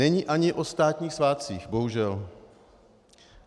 Není ani o státních svátcích, bohužel.